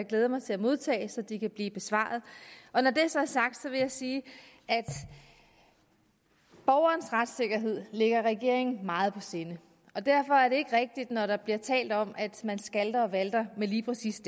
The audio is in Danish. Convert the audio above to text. glæde mig til at modtage så de kan blive besvaret og når det så er sagt vil jeg sige at borgernes retssikkerhed ligger regeringen meget på sinde og derfor er det ikke rigtigt når der bliver talt om at man skalter og valter lige præcis